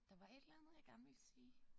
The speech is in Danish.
Der var et eller andet jeg gerne ville sige